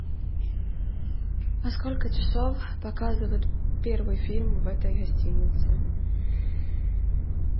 во сколько часов показывают первый фильм в этой гостинице